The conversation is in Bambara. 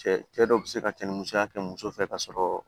Cɛ cɛ dɔw be se ka cɛnni kɛ muso fɛ ka sɔrɔ